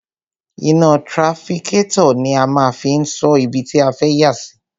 Iná trafikátọ̀ ni a máa fi ń sọ ibi tí a fẹ́ yà sí.